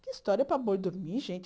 Que história para boi dormir, gente?